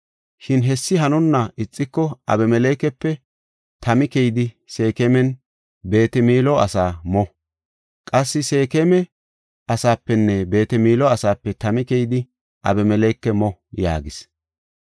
Shin hessi hanonna ixiko Abimelekepe tami keyidi Seekemanne Beet-Milo asaa mo. Qassi Seekema asaapenne Beet-Milo asaape tami keyidi Abimeleke mo” yaagis.